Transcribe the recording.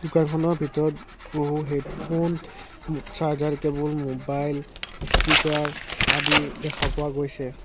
দোকানখনৰ ভিতৰত বহু headphone charger cable mobile speaker আদি দেখা পোৱা গৈছে।